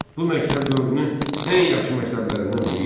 Bu məktəb dövrünün ən yaxşı məktəblərindən biri idi.